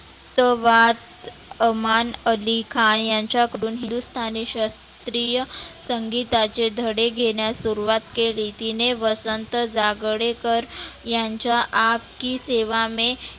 तवात अमान अलिखा यांच्याकडुन हिंदुस्थानी सस्त्रीय संगिताचे धडे घेण्यात सुरुवात केली तीने वसंत जागडेकर यांच्या आप की सेवा में